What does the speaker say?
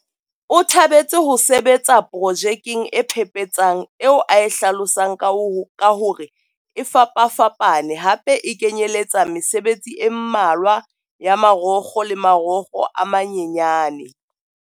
O thabetse ho sebetsa pro jekeng e phephetsang eo a e hlalosang ka hore e fapafapa ne hape e kenyeletsa mesebetsi e mmalwa ya marokgo le marokgo a manyanyane.